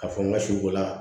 Ka fɔ n ka si bɔla